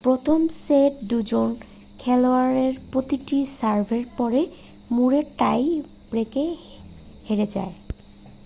প্রথম সেটে দুজন খেলোয়াড়ের প্রতিটি সার্ভের পরেই ম্যুরে টাই ব্রেকে হেরে যায়